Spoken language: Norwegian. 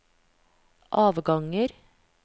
avganger